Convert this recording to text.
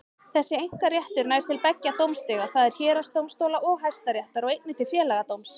Þessi einkaréttur nær til beggja dómstiga, það er héraðsdómstóla og Hæstaréttar, og einnig til Félagsdóms.